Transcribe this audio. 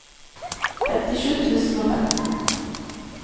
femtisju tusen og femten